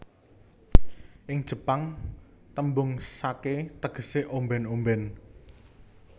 Ing Jepang tembung sake tegese omben omben